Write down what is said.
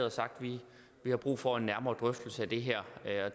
og sagt vi har brug for en nærmere drøftelse af det her